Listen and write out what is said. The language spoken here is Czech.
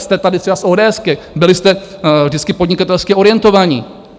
Jste tady třeba z odéesky, byli jste vždycky podnikatelsky orientovaní.